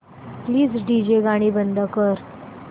please DJ गाणी बंद कर